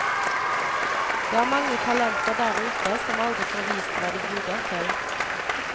Det er mange talenter der ute som aldri får vist hva de duger til.